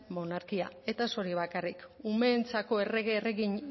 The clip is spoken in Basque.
monarkia eta ez hori bakarrik umeentzako errege erregina